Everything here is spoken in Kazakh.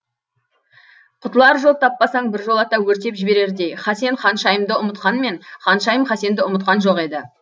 құтылар жол таппасаң біржолата өртеп жіберердей хасен ханшайымды ұмытқанмен ханшайым хасенді ұмытқан жоқ еді